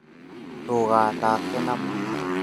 Ndũgathake na mwaki